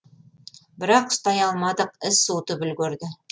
бірақ ұстай алмадық із суытып үлгерді